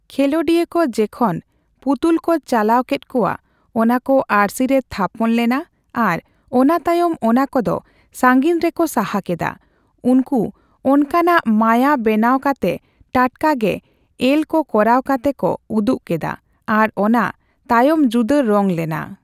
ᱠᱷᱮᱹᱞᱳᱰᱤᱭᱟᱹ ᱠᱚ ᱡᱮᱠᱷᱚᱱ ᱯᱩᱛᱩᱞ ᱠᱚ ᱪᱟᱞᱟᱣ ᱠᱮᱫ ᱠᱚᱣᱟ, ᱚᱱᱟᱠᱚ ᱟᱨᱥᱤ ᱨᱮ ᱛᱷᱟᱯᱚᱱ ᱞᱮᱱᱟ ᱟᱨ ᱚᱱᱟᱛᱟᱭᱚᱢ ᱚᱱᱟᱠᱚᱫᱚ ᱥᱟᱹᱜᱤᱧ ᱨᱮᱠᱚ ᱥᱟᱦᱟ ᱠᱮᱫᱟ, ᱩᱱᱠᱩ ᱚᱱᱠᱟᱱᱟᱜ ᱢᱟᱭᱟ ᱵᱮᱱᱟᱣ ᱠᱟᱛᱮ ᱴᱟᱴᱠᱟ ᱜᱮ ᱮᱞ ᱠᱚ ᱠᱚᱨᱟᱣ ᱠᱟᱛᱮ ᱠᱚ ᱩᱫᱩᱜ ᱠᱮᱫᱟ ᱟᱨ ᱚᱱᱟ ᱛᱟᱭᱚᱢᱡᱩᱫᱟᱹ ᱨᱚᱝ ᱞᱮᱱᱟ ᱾